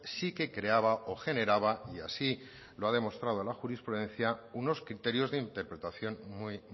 sí que creaba o generaba y así lo ha demostrado la jurisprudencia unos criterios de interpretación muy